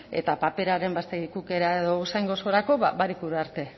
eta paperaren ba barikura arte